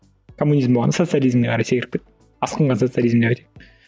коммунизм болғанда социализмге қарай секіріп кетті асқынған социализм деп айтайық